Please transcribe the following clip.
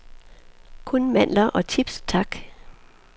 Kun mandler og chips, tak.